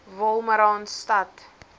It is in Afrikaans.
wolmaranstad